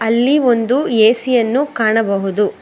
ಇಲ್ಲಿ ಒಂದು ಎ_ಸಿ ಅನ್ನು ಕಾಣಬಹುದು.